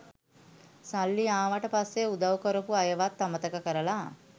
සල්ලි ආවට පස්සේ උදව් කරපු අයවත් අමතක කරලා